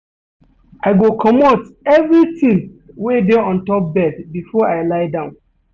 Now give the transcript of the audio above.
I go comot evertin wey dey on top bed before I lie down.